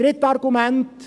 Drittes Argument: